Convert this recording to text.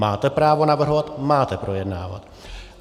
Máte právo navrhovat, máte projednávat.